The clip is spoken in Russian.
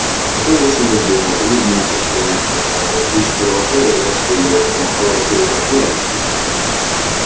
потом вышел из дома улыбнулся в сторону телекамеры всё ещё продолжая играть свою роль помахал рукой репортёрам и крикнул